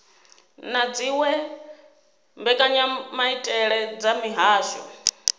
na dziwe mbekanyamaitele dza mihasho